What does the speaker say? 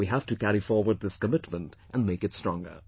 We have to carry forward this commitment and make it stronger